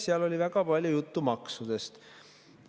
Seal oli väga palju juttu maksudest.